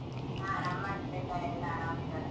ಹ ನಮ್ ಮನೆಯಲ್ಲಿಸ ಎಲ್ಲ ಆರಾಮಿದ್ದಾರೆ.